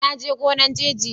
na je gonan " jeje" yau.